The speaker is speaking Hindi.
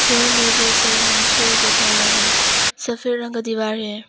चेयर में बहुत सारे मनुष्य भी बैठा हुआ है सफेद रंग का दीवार है।